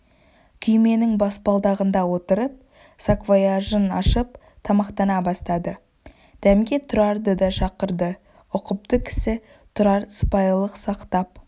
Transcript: күйменің баспалдағында отырып саквояжын ашып тамақтана бастады дәмге тұрарды да шақырды ұқыпты кісі тұрар сыпайылық сақтап